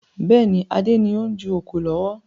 Bẹ́ẹ̀ni, Adé ni o n ju oko lọ́wọ́